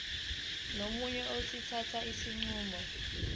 nomyeni sokuthatha isinqumo